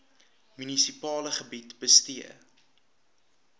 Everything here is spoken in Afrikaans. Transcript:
munisipale gebied bestee